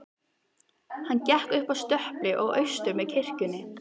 Hann gekk upp að stöpli og austur með kirkjunni.